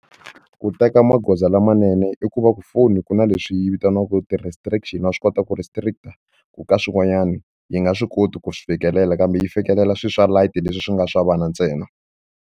Ku teka magoza lamanene i ku va ku foni ku na leswi yi vitaniwaka ti-restriction wa swi kota ku-restrict-a ku ka swin'wanyani yi nga swi koti ku swi fikelela kambe yi fikelela swilo swa light leswi swi nga swa vana ntsena.